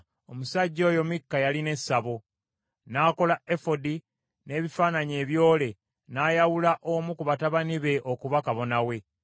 Omusajja oyo Mikka yalina essabo. N’akola efodi, n’ebifaananyi ebyole n’ayawula omu ku batabani be okuba kabona we.